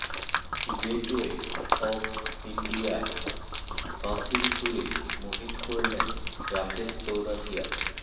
gateway of ইন্ডিয়ায় বাঁশির সুরে মোহিত করলেন রাকেশ চৌরাশিয়া